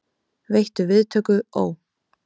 Veittu viðtöku, ó